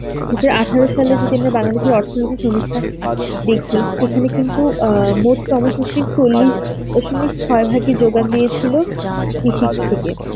কিন্তু আঠেরো সালে যদি আমি বাংলাদেশের অর্থনীতি সমীক্ষা দেখি সেখানে কিন্তু অ্যাঁ মোট চল্লিশ দশমিক ছয় ভাগই যোগান দিয়েছিল কৃষির থেকে.